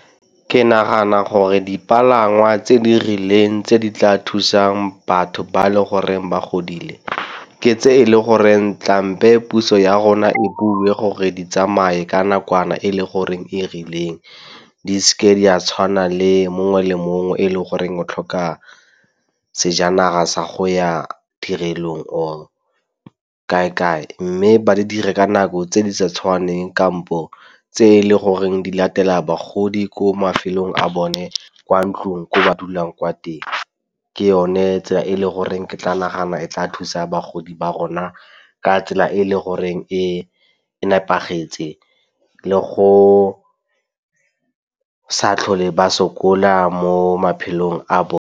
Ke nagana gore dipalangwa tse di rileng tse di tla thusang batho ba le goreng ba godile ke tse e le goreng puso ya rona e bulwe gore di tsamaye ka nakwana e le goreng e rileng. Di seke di a tshwana le mongwe le mongwe e leng goreng o tlhoka sejanaga sa go ya tirelong or kae-kae mme ba di dire ka nako tse di sa tshwaneng kampo tse e leng goreng di latela bagodi ko mafelong a bone kwa ntlong ko ba dulang kwa teng. Ke yone tsela e le goreng ke tla nagana e tla thusa bagodi ba rona a ka tsela e e le goreng e nepagetseng le go sa tlhole ba sokola mo maphelong a bo.